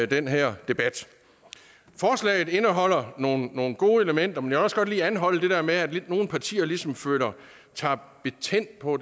den her debat forslaget indeholder nogle nogle gode elementer men jeg vil også godt lige anholde det der med at nogle partier ligesom tager patent på